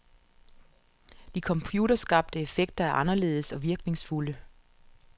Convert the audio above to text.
De computerskabte effekter er anderledes og virkningsfulde.